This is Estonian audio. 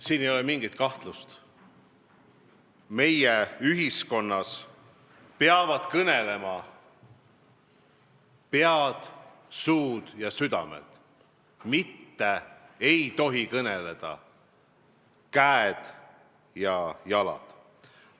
Siin ei ole mingit kahtlust, meie ühiskonnas peavad kõnelema pead, suud ja südamed, mitte ei tohi kõneleda käed ja jalad.